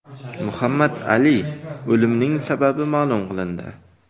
Muhammad Ali o‘limining sababi ma’lum qilindi.